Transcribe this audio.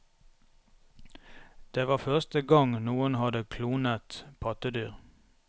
Det var første gang noen hadde klonet pattedyr.